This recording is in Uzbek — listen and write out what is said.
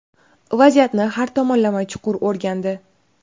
vaziyatni har tomonlama chuqur o‘rgandi.